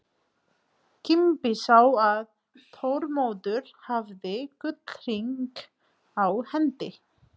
Kimbi sá að Þormóður hafði gullhring á hendi.